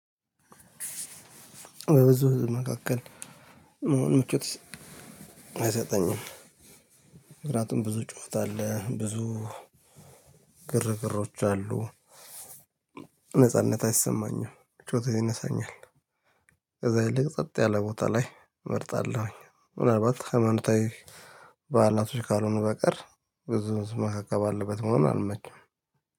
በዚህ መካከል ምቾት አይሰጠኝም። ምክንያቱም ብዙ ጩኸት አለ። ብዙ ግርግሮች አሉ። ነጻነት አይሰማኝም ምቾ ይነሳኛል። ከዛ ይልቅ ጸጥ ያለ ቦታ ላይ እመርጣለሁ። ምናልባት ሃይማኖታዊ በዓላቶች ካልሆኑ በቀር ብዙ ህዝብ መካከል ባለበት መሆኑን አልመቸውም።